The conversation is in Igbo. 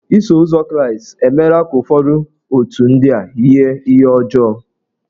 Iso ụzọ Kraịstị emela ka ụfọdụ otù ndị a yie ihe ọjọọ.